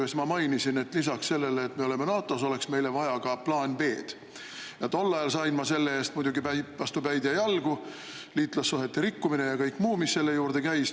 Siis ma mainisin, et lisaks sellele, et me oleme NATO-s, oleks meile vaja ka plaani B. Tol ajal sain ma selle eest muidugi vastu päid ja jalgu, liitlassuhete rikkumine ja kõike muud, mis selle juurde käis.